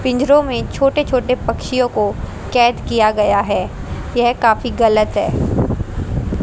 पिंजड़ों में छोटे छोटे पक्षियों को कैद किया गया है यह काफी गलत है।